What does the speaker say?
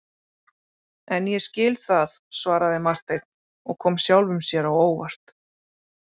En ég skil það, svaraði Marteinn og kom sjálfum sér á óvart.